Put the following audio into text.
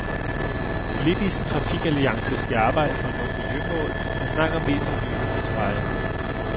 Politisk trafikalliance skal arbejde for at nå miljømål, men snakker mest om nye motorveje.